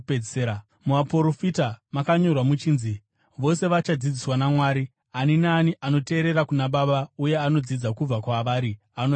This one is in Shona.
Muvaprofita makanyorwa muchinzi: ‘Vose vachadzidziswa naMwari.’ Ani naani anoteerera kuna Baba uye anodzidza kubva kwavari anouya kwandiri.